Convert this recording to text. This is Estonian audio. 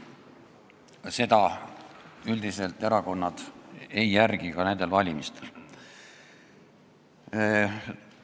Seda erakonnad ka nendel valimistel üldiselt ei järgi.